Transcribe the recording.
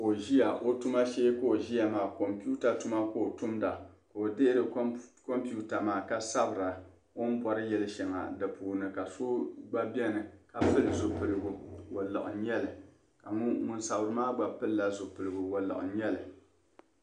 Ka o ʒiya o tuma shee ka o ʒiya maa computa tuma ka o tumda ka o dihiri computa maa ka sabira o ni bori yili shɛli di puuni ka so gba beni ka pili zipiligu waluɣu nyɛli ka ŋun sabiri maa gba pili zipiligu waluɣu nyɛli.